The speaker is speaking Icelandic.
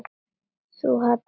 Þú hallar þér fram.